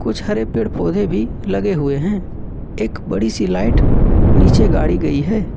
कुछ हरे पेड़-पौधे भी लगे हुए हैं एक बड़ी सी लाइट नीचे गाड़ी गई है।